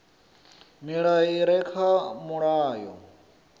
milayo i re kha mulayo